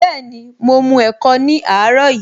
Bẹẹni, mo mu ẹ̀kọ ní àárọ̀ yìí